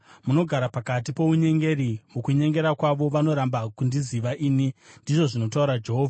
Munogara pakati pounyengeri; mukunyengera kwavo vanoramba kundiziva ini,” ndizvo zvinotaura Jehovha.